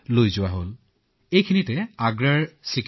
তেওঁলোকে আমাৰ পূৰ্ণ সহযোগিতা আগবঢ়ালে